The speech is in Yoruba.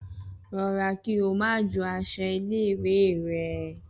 Rọra kí o má jó aṣọ ilé ìwé rẹ!